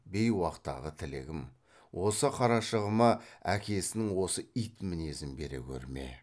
бейуақтағы тілегім осы қарашығыма әкесінің осы ит мінезін бере көрме